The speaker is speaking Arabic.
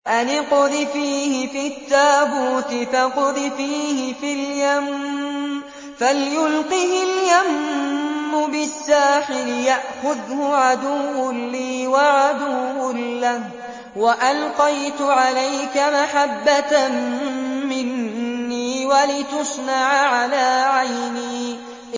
أَنِ اقْذِفِيهِ فِي التَّابُوتِ فَاقْذِفِيهِ فِي الْيَمِّ فَلْيُلْقِهِ الْيَمُّ بِالسَّاحِلِ يَأْخُذْهُ عَدُوٌّ لِّي وَعَدُوٌّ لَّهُ ۚ وَأَلْقَيْتُ عَلَيْكَ مَحَبَّةً مِّنِّي وَلِتُصْنَعَ عَلَىٰ عَيْنِي